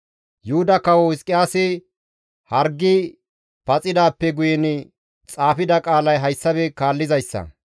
Yuhuda kawo Hizqiyaasi hargi paxidaappe guyen xaafida qaalay hayssafe kaallizayssa;